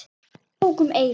Hún tók um eyrun.